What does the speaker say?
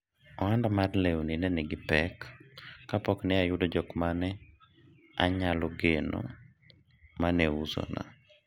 ohanda mar lewni ne nigi pek kapok ne ayudo jok mane anyalo geno mane usona